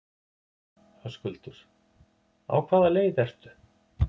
Höskuldur: Á hvaða leið ertu?